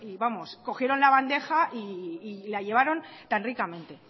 vamos cogieron la bandeja y la llevaron tan ricamente